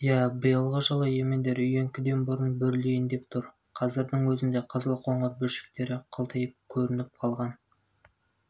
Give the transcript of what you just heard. иә биылғы жылы емендер үйеңкіден бұрын бүрлейін деп тұр қазірдің өзінде қызыл-қоңыр бүршіктері қылтиып көрініп қалған